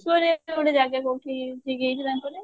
ରେ ଗୋଟେ ଜାଗା କଉଠି ଠିକ ହେଇଛି ତାଙ୍କର